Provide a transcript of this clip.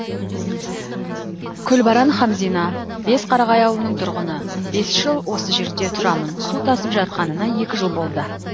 күлбаран хамзина бесқарағай ауылының тұрғыны бес жыл осы жерде тұрамын су тасып жатқанына екі жыл болды